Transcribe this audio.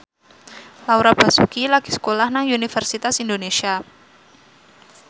Laura Basuki lagi sekolah nang Universitas Indonesia